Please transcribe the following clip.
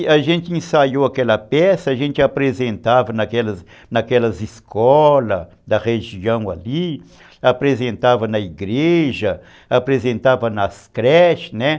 E a gente ensaiou aquela peça, a gente apresentava naquelas naquelas escolas da região ali, apresentava na igreja, apresentava nas creches.